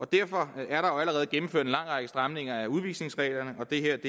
derfor er der jo allerede gennemført en lang række stramninger af udvisningsreglerne og det her